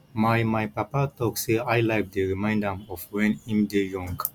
my my papa talk sey highlife dey remind am of wen im dey young